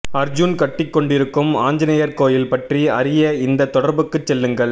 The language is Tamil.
அர்ஜுன் கட்டிக்கொண்டிருக்கும் ஆஞ்சனேயர் கோயில் பற்றி அறிய இந்தத் தொடர்புக்குச் செல்லுங்கள்